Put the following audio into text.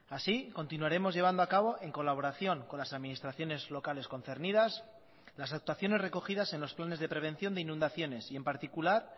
así continuaremos llevando a cabo en colaboración con las administraciones locales concernidas las actuaciones recogidas en los planes de prevención de inundaciones y en particular